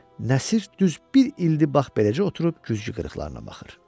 Nəsir düz bir ildir bax beləcə oturub güzgü qırıqlarına baxır.